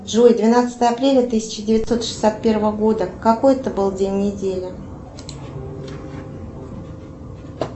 джой двенадцатое апреля тысяча девятьсот шестьдесят первого года какой это был день недели